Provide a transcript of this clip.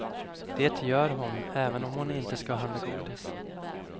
Det gör hon även om hon inte ska handla godis.